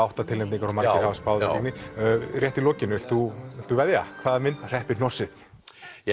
átta tilnefningar og margir hafa spáð velgengni rétt í lokin viltu veðja hvaða mynd hreppir hnossið ég